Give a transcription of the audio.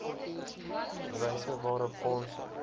wyse waarop fondse